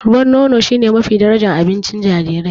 Ruwan nono shine mafi darajar abincin jarirai.